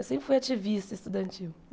Eu sempre fui ativista estudantil.